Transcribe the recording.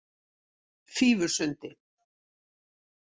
Fífusundi